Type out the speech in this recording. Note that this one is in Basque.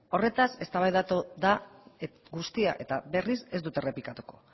horretaz eztabaidatu da guztia eta berriz ez dut errepikatuko